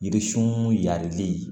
Yiririsun yalili